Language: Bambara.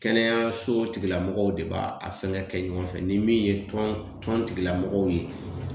Kɛnɛyaso tigilamɔgɔw de b'a a fɛngɛ kɛ ɲɔgɔn fɛ ni min ye tɔn tɔn tigilamɔgɔw ye